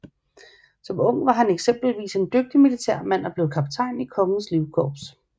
Som ung var han eksempelvis en dygtig militærmand og blev kaptajn i Kongens Livkorps